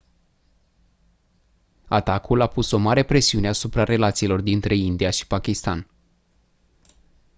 atacul a pus o mare presiune asupra relațiilor dintre india și pakistan